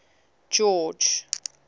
george